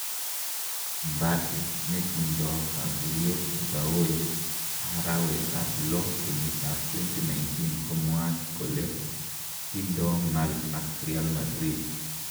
Mbappe netindo kaguyet gaoi arawetab loo kenyitab 2019 komwaat kole tindo ng'al ak Real Madrid.